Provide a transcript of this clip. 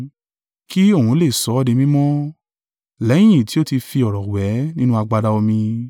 Kí òun lè sọ ọ́ di mímọ́ lẹ́yìn tí ó tí fi ọ̀rọ̀ wẹ̀ ẹ́ nínú agbada omí.